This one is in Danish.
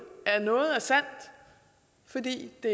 at noget er sandt fordi det